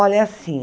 Olha, é assim.